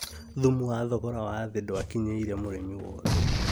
Thumu wa thogora wa thĩ ndwakinyĩire mũrĩmi wothe